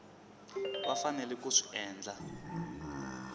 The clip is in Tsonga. va faneleke ku swi endla